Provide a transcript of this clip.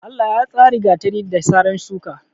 Allah ya tsari gatari, da saran shuka.